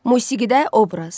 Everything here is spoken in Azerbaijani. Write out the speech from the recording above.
Musiqidə obraz.